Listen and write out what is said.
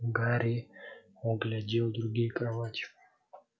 гарри оглядел другие кровати